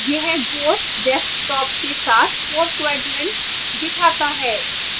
यह 4 desktops के साथ 4 quadrants दिखाता है